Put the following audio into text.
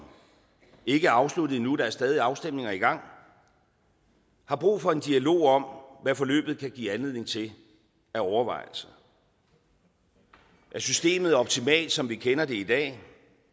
ikke er afsluttet endnu der er stadig afstemninger i gang har brug for en dialog om hvad forløbet kan give anledning til af overvejelser er systemet optimalt som vi kender det i dag